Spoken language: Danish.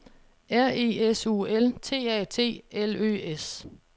R E S U L T A T L Ø S